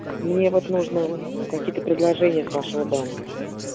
мне вот нужно ну какие-то предложения с вашего банка